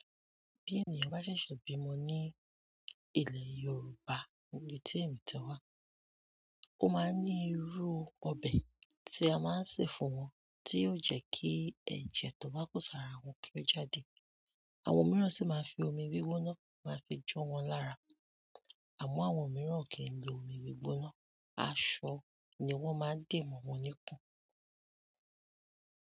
Bí ènìyàn bá ṣẹ̀ṣẹ̀ bímọ ní ilẹ̀ Yorùbá níbi tí èmí ti wá, ó máa ní irú ọbẹ̀ tí a máa ń sè fún wọn tí ó jẹ́ kí ẹ̀jẹ̀ tó bá kú sàara wọn kí ó jáde. Àwọn mìíràn sì máa fi omi gbigbona won maa fi jo wọn lára, àmọ́ àwọn mìíràn ò kí n lo omi gbigbona, aṣọ ni wọ́n máa ń de mọ̀ wọn níkun.